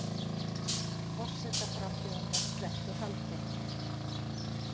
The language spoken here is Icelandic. Forsetaframbjóðanda sleppt úr haldi